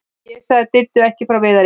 Ég sagði Diddu ekki frá Viðari.